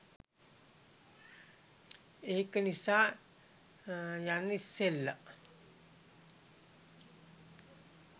ඒක නිසා යන්න ඉස්සල්ල